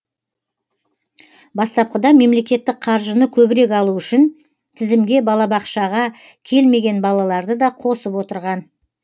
бастапқыда мемлекеттік қаржыны көбірек алу үшін тізімге балабақшаға келмеген балаларды да қосып отырған